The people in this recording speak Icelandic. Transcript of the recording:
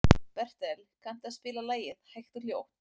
Bertel, kanntu að spila lagið „Hægt og hljótt“?